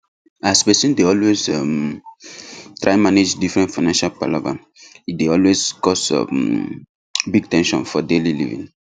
as person dey always um try manage different financial palava e dey always cause um big ten sion for daily living